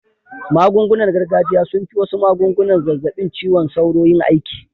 Magungunar gargajiya sun fi wasu magungunar zazzabin ciwon sauro yin aiki